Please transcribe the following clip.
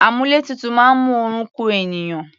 Àmúlétutù máa ń mú oorun ku ènìyàn.